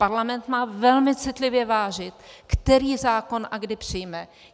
Parlament má velmi citlivě vážit, který zákon a kdy přijme.